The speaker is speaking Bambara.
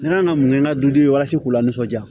N'a ka minɛ minɛ ka duden walasa k'u la nisɔndiya